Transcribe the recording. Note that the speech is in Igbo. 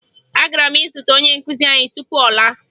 Agara m izute onye nkụzi anyị tupu ọ laa